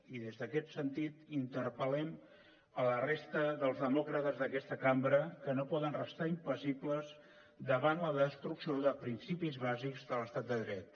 i en aquest sentit interpel·lem la resta dels demòcrates d’aquesta cambra que no poden restar impassibles davant la destrucció de principis bàsics de l’estat de dret